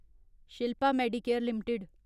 Shilpa Medicare limited